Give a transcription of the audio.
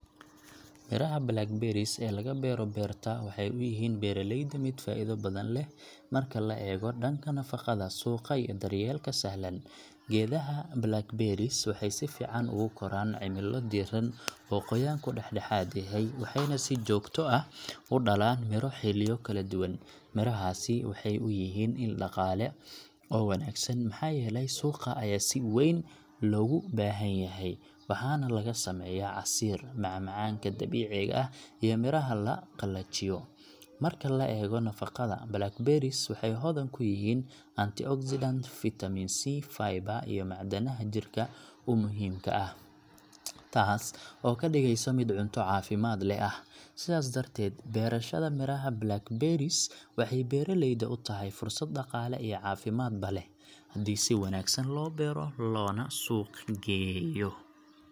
Miraha blackberries ee laga beero beerta waxay u yihiin beeraleyda mid faa’iido badan leh marka la eego dhanka nafaqada, suuqa, iyo daryeelka sahlan. Geedaha blackberries waxay si fiican ugu koraan cimilo diiran oo qoyaanku dhexdhexaad yahay, waxayna si joogto ah u dhalaan miro xilliyo kala duwan. Mirahaasi waxay u yihiin il dhaqaale oo wanaagsan maxaa yeelay suuqa ayaa si weyn loogu baahanyahay, waxaana laga sameeyaa casiir, maca-macaanka dabiiciga ah, iyo miraha la qalajiyo. Marka la eego nafaqada, blackberries waxay hodan ku yihiin antioxidants, fitamiin C, fiber iyo macdanaha jirka u muhiimka ah, taas oo ka dhigaysa mid cunto caafimaad leh ah. Sidaas darteed, beerashada miraha blackberries waxay beeraleyda u tahay fursad dhaqaale iyo caafimaadba leh, haddii si wanaagsan loo beero loona suuq geeyo.